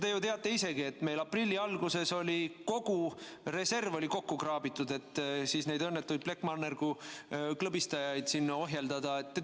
Te ju teate isegi, et meil aprilli alguses oli kogu reserv kokku kraabitud, et neid õnnetuid plekkmannergu klõbistajaid siin ohjeldada.